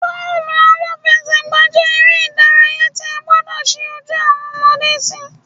Bọ́ọ̀lù-aláfẹ́sẹ̀gbà jẹ́ eré ìdárayá tí a gbọdọ̀ ṣí ojú awọn ọmọde sí